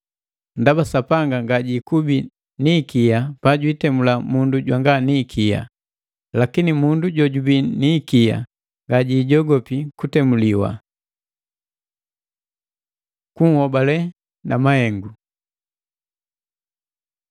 Ndaba Sapanga ngajikubi ni ikia pajantemula mundu jwanga ni ikia. Lakini mundu jojubii ni ikia ngajijogopi kutemuliwa. Kunhobale na mahengu